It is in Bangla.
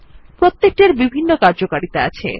প্রত্যেকটির বিভিন্ন কার্যকারিতা আছে